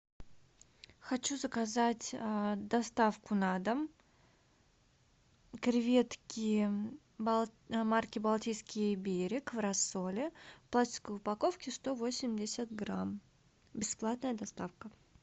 хочу заказать доставку на дом креветки марки балтийский берег в рассоле в пластиковой упаковке сто восемьдесят грамм бесплатная доставка